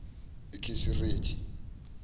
ikisiriti